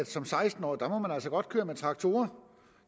som seksten årig altså godt veje med traktorer